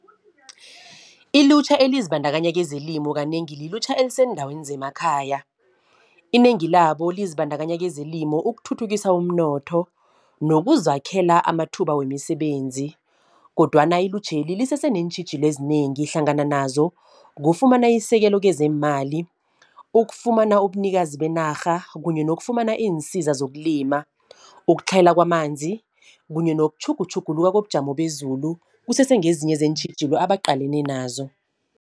Ilutjha elizibandakanya kezelimo, kanengi lilutjha eliseendaweni zemakhaya. Inengi labo lizibandakanya kezelimo ukuthuthukisa umnotho, nokuzakhela amathuba wemisebenzi. Kodwana ilutjheli, lisese neentjhijilo ezinengi. Hlangana nazo kufumana isekelo kezeemali, ukufumana ubunikazi benarha, kunye nokufumana iinsiza zokulima. Ukutlhayela kwamanzi, kunye nokutjhugutjhuluka kobujamo bezulu, kusese ngezinye zeentjhijilo abaqalene nazo.